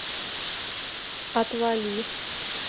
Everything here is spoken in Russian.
отвали